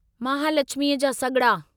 महालछिमीअ जा सॻिड़ा